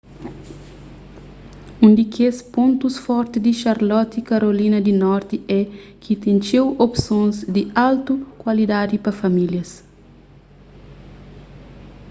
un di kes pontus forti di charlotte karolina di norti é ki ten txeu opsons di altu kualidadi pa famílias